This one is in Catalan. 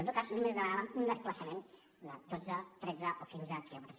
en tot cas només demanàvem un desplaçament de dotze tretze o quinze quilòmetres